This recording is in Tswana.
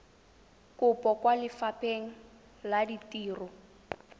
kopo kwa lefapheng la ditiro